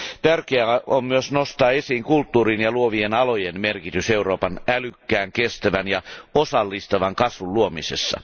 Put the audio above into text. Tärkeää on myös nostaa esiin kulttuurin ja luovien alojen merkitys Euroopan älykkään, kestävän ja osallistavan kasvun luomisessa.